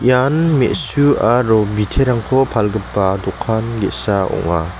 ian me·su aro biterangko palgipa dokan ge·sa ong·a.